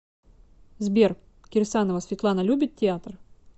сбер кирсанова светлана любит театр